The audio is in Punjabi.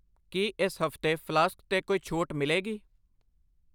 ਕੀ ਇਸ ਹਫ਼ਤੇ ਫਲਾਸਕ 'ਤੇ ਕੋਈ ਛੋਟ ਮਿਲੇਗੀ ?